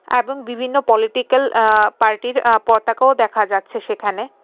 এবং বিভিন্ন পলিটিকাল আঃ পার্টির আঃ পতাকাও দেখা যাচ্ছে সেখানে.